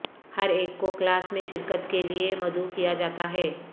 ہر ایک کو کلاس میں شرکت کے لئے مدعو کیا جاتا ہے